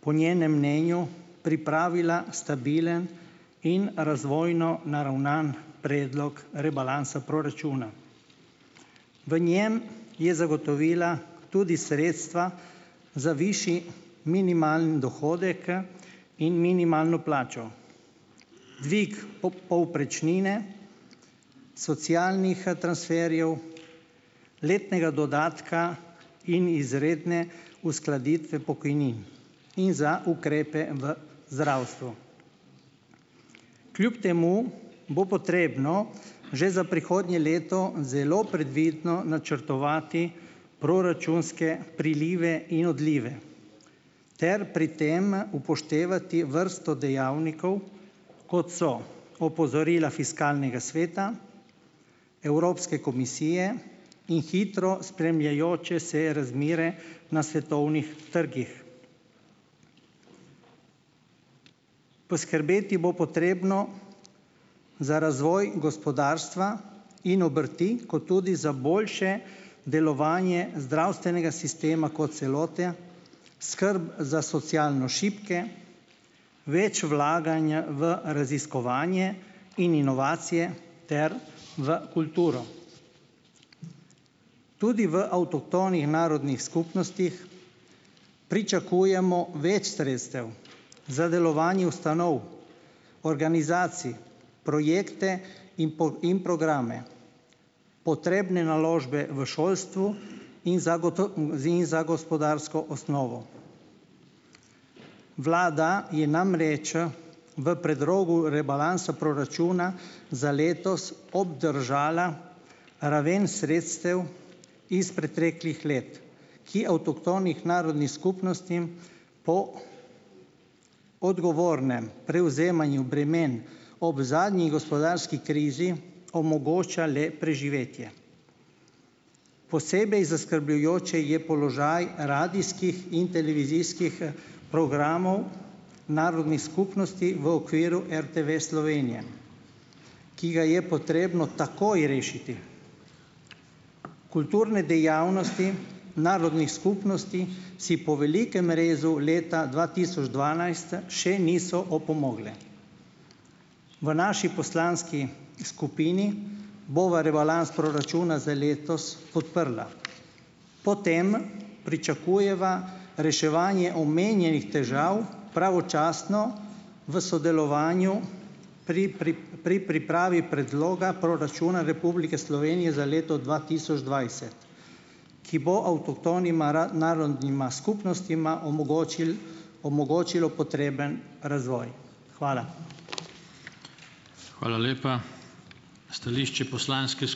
po njenem mnenju pripravila stabilen in razvojno naravnan predlog rebalansa proračuna, v njem je zagotovila tudi sredstva za višji minimalni dohodek in minimalno plačo, dvig povprečnine, socialnih transferjev, letnega dodatka in izredne uskladitve pokojnin in za ukrepe v zdravstvu. Kljub temu bo potrebno že za prihodnje leto zelo previdno načrtovati proračunske prilive in odlive ter pri tem upoštevati vrsto dejavnikov, kot so opozorila fiskalnega sveta, Evropske komisije in hitro spremljajoče se razmere na svetovnih trgih. Poskrbeti bo potrebno za razvoj gospodarstva in obrti kot tudi za boljše delovanje zdravstvenega sistema kot celote, skrb za socialno šibke, več vlaganja v raziskovanje in inovacije ter v kulturo, tudi v avtohtonih narodnih skupnostih pričakujemo več sredstev za delovanje ustanov, organizacij, projekte in in programe, potrebne naložbe v šolstvu in in za gospodarsko osnovo. Vlada je namreč v predlogu rebalansa proračuna za letos obdržala raven sredstev iz preteklih let, ki avtohtonim narodnim skupnostim ... Odgovornem prevzemanju bremen ob zadnji gospodarski krizi omogoča le preživetje, posebej zaskrbljujoč je položaj radijskih in televizijskih programov narodnih skupnosti v okviru RTV Slovenije, ki ga je potrebno takoj rešiti, kulturne dejavnosti narodnih skupnosti si po velikem rezu leta dva tisoč dvanajst še niso opomogle. V naši poslanski skupini bova rebalans proračuna za letos podprla, po tem pričakujeva reševanje omenjenih težav, pravočasno, v sodelovanju pri pri pri pripravi predloga proračuna Republike Slovenije za leto dva tisoč dvajset, ki bo avtohtonima narodnima skupnostma omogočil omogočilo potreben razvoj, hvala. Hvala lepa, stališče poslanske ...